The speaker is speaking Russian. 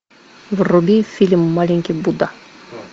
вруби фильм маленький будда